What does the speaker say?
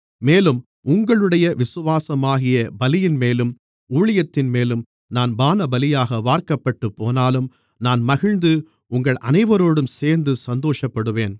மேலும் உங்களுடைய விசுவாசமாகிய பலியின்மேலும் ஊழியத்தின்மேலும் நான் பானபலியாக வார்க்கப்பட்டுப் போனாலும் நான் மகிழ்ந்து உங்கள் அனைவரோடும் சேர்ந்து சந்தோஷப்படுவேன்